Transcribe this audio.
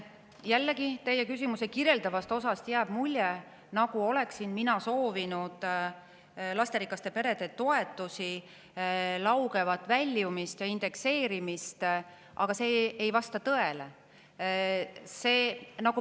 Jällegi, teie küsimuse kirjeldavast osast jääb mulje, nagu oleksin mina soovinud lasterikaste perede toetustest lauget väljumist ja nende indekseerimist, aga see ei vasta tõele.